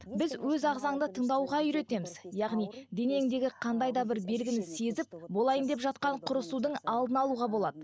біз өз ағзаңды тыңдауға үйретеміз яғни денеңдегі қандай да бір белгіні сезіп болайын деп жатқан құрысудың алдын алуға болады